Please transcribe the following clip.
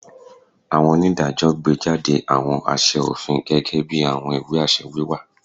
Awọn onidajọ gbejade awọn aṣẹ ofin, gẹgẹbi awọn iwe-aṣẹ wiwa